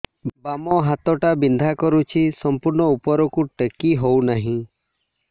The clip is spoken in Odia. ବାମ ହାତ ଟା ବିନ୍ଧା କରୁଛି ସମ୍ପୂର୍ଣ ଉପରକୁ ଟେକି ହୋଉନାହିଁ